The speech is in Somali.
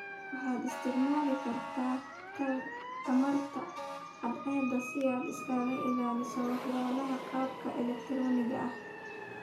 Waxaad isticmaali kartaa tamarta cadceedda si aad isaga ilaaliso waxyeelada qalabka elegtarooniga ah